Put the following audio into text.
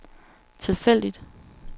tilfældigt